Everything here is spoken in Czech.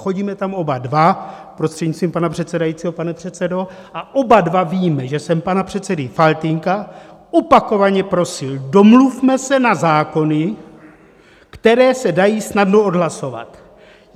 Chodíme tam oba dva, prostřednictvím pana předsedajícího, pane předsedo, a oba dva víme, že jsem pana předsedu Faltýnka opakovaně prosil: Domluvme se na zákony, které se dají snadno odhlasovat.